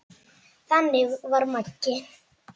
Þannig var Maggi.